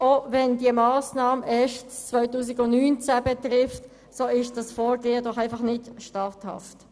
Wenngleich diese Massnahme erst im Jahr 2019 Wirkung entfaltet, ist dieses Vorgehen doch einfach nicht statthaft.